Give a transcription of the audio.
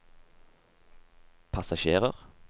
passasjerer